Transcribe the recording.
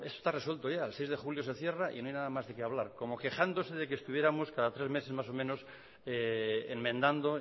esto está resuelto ya el seis de julio se cierra y no hay nada más de qué hablar como quejándose de que estuviéramos cada tres meses más o menos enmendando